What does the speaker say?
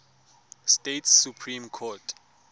states supreme court